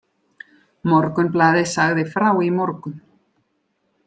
Morgunblaðið sagði frá í morgun.